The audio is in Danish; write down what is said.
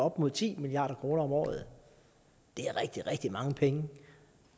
op mod ti milliard kroner om året det er rigtig rigtig mange penge